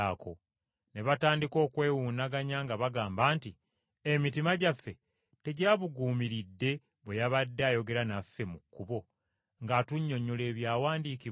Ne batandika okwewuunaganya nga bagamba nti, “Emitima gyaffe tegyabuguumiridde bwe yabadde ayogera naffe mu kkubo ng’atunnyonnyola Ebyawandiikibwa?”